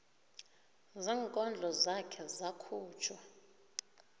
zeenkondlo zakhe zakhutjhwa